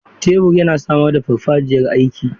Tebur yana samar da farfajiyar aiki.